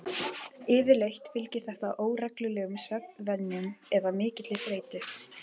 Yfirleitt fylgir þetta óreglulegum svefnvenjum eða mikilli þreytu.